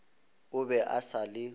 o be a sa le